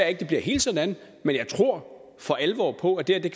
at det bliver helt sådan men jeg tror for alvor på at det